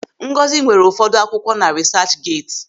Ngọzi nwere ụfọdụ akwụkwọ na Risaachgeeti.